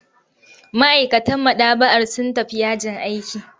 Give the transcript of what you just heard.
Ma'aikatan maɗaba'ar sun tafi yajin aiki.